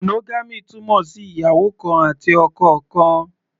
Monogamy túmọ̀ sí ìyàwó kan àti ọkọ kan.